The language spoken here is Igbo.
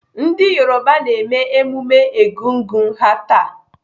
Ndị Yoruba na-eme emume Egungun ha taa.